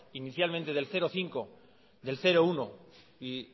inicialmente del cero coma cinco del cero coma uno y